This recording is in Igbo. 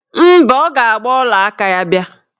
Mba, ọ ga-agba ọlaaka ya bịa